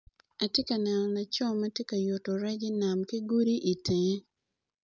Atye ka neno laco matye ka yuto rec inam ki godi i tenge.